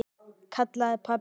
kallaði pabbi.